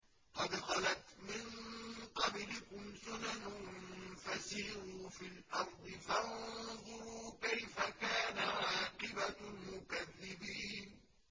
قَدْ خَلَتْ مِن قَبْلِكُمْ سُنَنٌ فَسِيرُوا فِي الْأَرْضِ فَانظُرُوا كَيْفَ كَانَ عَاقِبَةُ الْمُكَذِّبِينَ